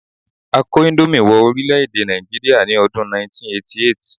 A kó índómì wọ orílè-èdè Nàìjíríà ní ọdún 1988